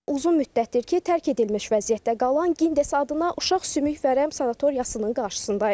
Uzun müddətdir ki, tərk edilmiş vəziyyətdə qalan Gindes adına uşaq sümük vərəm sanatoriyasının qarşısındayıq.